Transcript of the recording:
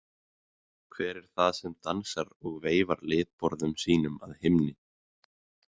Hver er það sem dansar og veifar litborðum sínum að himni?